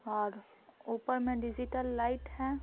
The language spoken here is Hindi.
और ऊपर में डिजिटल लाइट है।